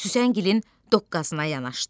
Süsəngilin doqğazına yanaşdı.